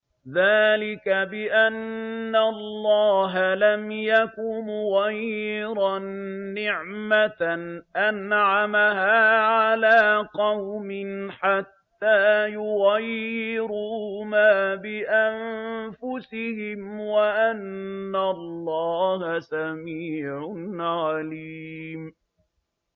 ذَٰلِكَ بِأَنَّ اللَّهَ لَمْ يَكُ مُغَيِّرًا نِّعْمَةً أَنْعَمَهَا عَلَىٰ قَوْمٍ حَتَّىٰ يُغَيِّرُوا مَا بِأَنفُسِهِمْ ۙ وَأَنَّ اللَّهَ سَمِيعٌ عَلِيمٌ